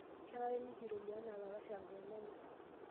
Kenare nikirorie enaa ilalashera lenyenak.